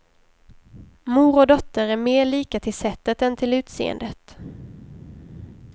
Mor och dotter är mer lika till sättet än till utseendet.